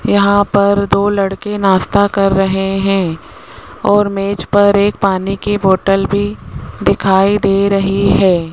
यहां पर दो लड़के नाश्ता कर रहे हैं और मेज पर एक पानी की बोतल भी दिखाई दे रही है।